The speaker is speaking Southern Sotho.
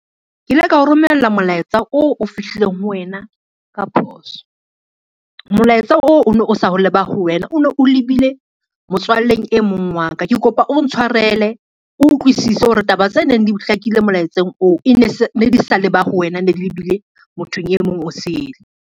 Ke ile kao romella molaetsa o fihlileng ho wena ka phoso. Molaetsa oo o no sa leba ho wena, o no o lebile motswalleng e mong wa ka. Ke kopa o ntshwarele, o utlwisise hore taba tse neng di hlakile molaetseng oo ne di sa leba ho wena, ne di lebile mothong e mong o sele.